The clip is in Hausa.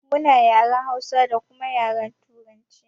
Muna yaren Hausa da kuma yaren turanci